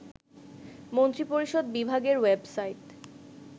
মন্ত্রিপরিষদ বিভাগের ওয়েবসাইট